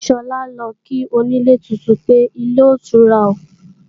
Sọlá ń lọ kí onílé tuntun pé, ilé otura